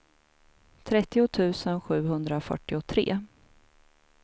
trettio tusen sjuhundrafyrtiotre